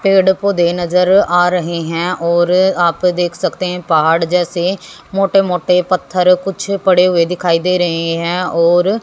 पेड़ पौधे नजर आ रहे हैं और आप देख सकते हैं पहाड़ जैसे मोटे मोटे पत्थर कुछ पड़े हुए दिखाई दे रहे हैं और--